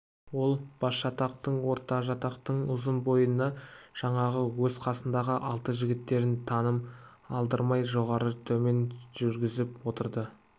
ол басжатақтың ортажатақтың ұзын бойына жаңағы өз қасындағы алты жігіттерін тыным алдырмай жоғары-төмен жүргізіп отырды